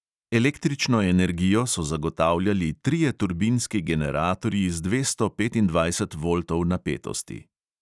Električno energijo so zagotavljali trije turbinski generatorji z dvesto petindvajset voltov napetosti.